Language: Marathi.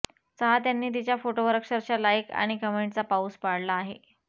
चाहत्यांनी तिच्या फोटोवर अक्षरशः लाइक आणि कमेंटचा पाऊस पाडला आहे